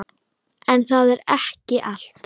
En það er ekki allt.